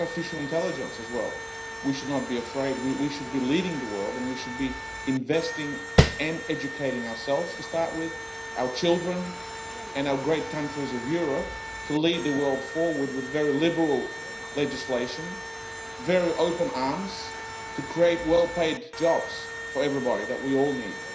Artificial intelligence we should not be afraid of either. We should be leading the world and we should be investing and educating ourselves to start with, our children and our great countries of Europe to lead the world forward with very liberal legislation, very open arms to create well-paid jobs for everybody, which we all need.